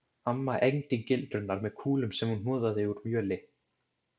Amma egndi gildrurnar með kúlum sem hún hnoðaði úr mjöli.